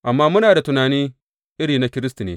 Amma muna da tunani iri na Kiristi ne.